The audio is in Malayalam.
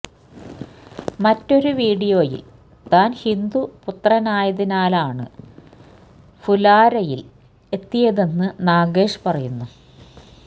മറ്റൊരു വീഡിയോയില് താന് ഹിന്ദു പുത്രനായതിനാലാണ് ഫുല്വാരയില് എത്തിയതെന്ന് നാഗേഷ് പറയുന്നുണ്ട്